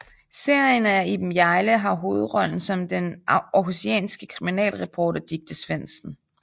Serien er Iben Hjejle har hovedrollen som den aarhusianske kriminalreporter Dicte Svendsen